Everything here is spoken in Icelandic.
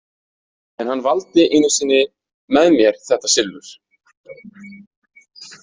En hann valdi einu sinni með mér þetta silfur.